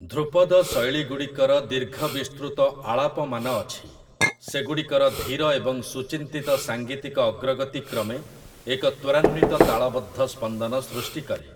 ଧ୍ରୁପଦ ଶୈଳୀଗୁଡ଼ିକର ଦୀର୍ଘ ବିସ୍ତୃତ ଆଳାପମାନ ଅଛି, ସେଗୁଡ଼ିକର ଧୀର ଏବଂ ସୁଚିନ୍ତିତ ସାଙ୍ଗୀତିକ ଅଗ୍ରଗତି କ୍ରମେ ଏକ ତ୍ୱରାନ୍ୱିତ ତାଳବଦ୍ଧ ସ୍ପନ୍ଦନ ସୃଷ୍ଟି କରେ ।